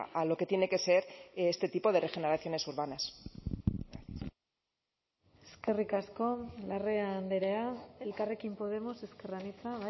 a lo que tiene que ser este tipo de regeneraciones urbanas eskerrik asko larrea andrea elkarrekin podemos ezker anitza